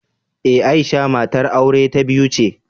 Ee, Aisha matar aure ta biyu ce.